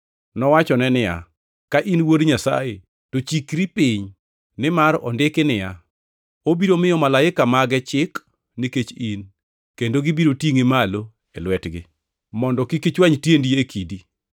Nowachone niya, “Ka in wuod Nyasaye to chikri piny. Nimar ondiki niya, “ ‘Obiro miyo malaika mage chik nikech in, kendo gibiro tingʼi malo e lwetgi, mondo kik ichwany tiendi e kidi.’ + 4:6 \+xt Zab 91:11,12\+xt*”